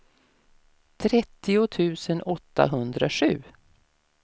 trettio tusen åttahundrasju